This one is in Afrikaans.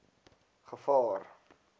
gevaar